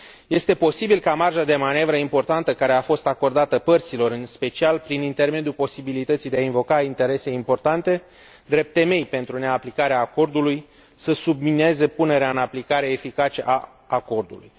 Este posibil ca marja de manevră importantă care a fost acordată părților, în special prin intermediul posibilității de a invoca interese importante drept temei pentru neaplicarea acordului, să submineze punerea în aplicare eficace a acordului.